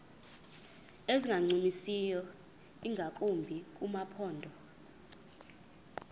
ezingancumisiyo ingakumbi kumaphondo